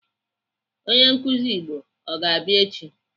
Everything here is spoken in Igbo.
Onye nkụzi Igbo ọ ga-abịa echi?